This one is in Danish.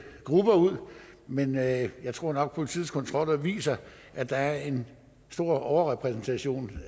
grupper ud men jeg jeg tror nok politiets kontroller viser at der er en stor overrepræsentation